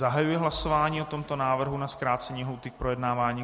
Zahajuji hlasování o tomto návrhu na zkrácení lhůty k projednávání.